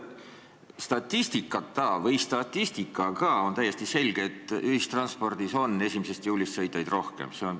Statistikata või statistikaga – on täiesti selge, et ühistranspordis on 1. juulist sõitjaid rohkem.